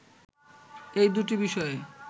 এ দুটি বিষয়ে